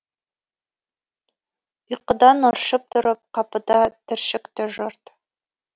ұйқыдан ыршып тұрып қапыда түршікті жұрт